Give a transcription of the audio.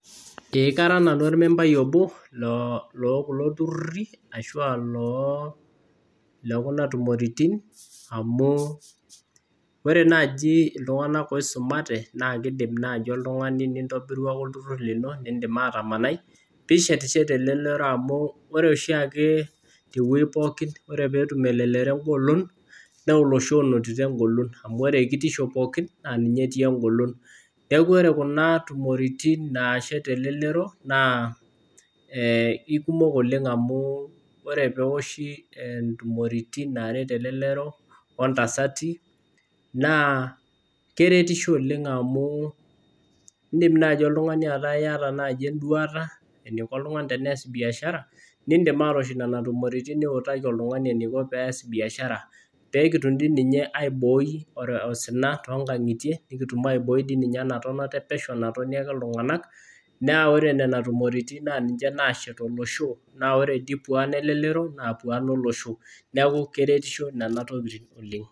Ee kara nanu ormembai obo loo kulo turrurri ashu aa loo le kuna tumoritin amu ore naaji iltung'anak oisumate naa kiidim naaji oltung'ani nintobiru ake olturrurr lino, niindim atamanai piishetisheti elelero amu ore oshiake tewuei pookin ore peetum elelero engolon naa olosho onotito engolon amu kitisho pookin naa ninye etii engolon. Neeku ore kuna tumoritin naashet elelero naa ikumok oleng amu ore pee ewoshi intumoritin are naata elelero woltasati naa keretisho oleng amu indim naai oltung'ani ataa iyata ai duata, eniko oltung'ani tenees biashara niindim aatoosh nena tumooritin niutaki oltung'ani eniko pees biashara peekitum dii ninye aiboi osina toonkang'itie nekitum aibooi dii ninye ena tonata e pesho natoni ake iltung'anak. Naa ore nena tumoritin naa ninche naashet olosho. Naa ore dii pwaan elelek pwaan elelero naa pwaan olosho. Neeku keretisho nena tokiting oleng